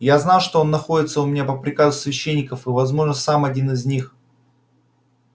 я знал что он находится у меня по приказу священников и возможно сам один из них